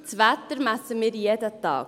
Das Wetter messen wir jeden Tag.